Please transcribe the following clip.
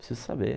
Preciso saber.